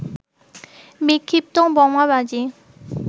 বিক্ষিপ্ত বোমাবাজি